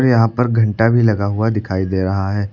यहां पर घंटा भी लगा हुआ दिखाई दे रहा है।